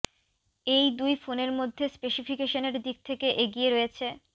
এই দুই ফোনের মধ্যে স্পেসিফিকেশানের দিক থেকে এগিয়ে রয়েছ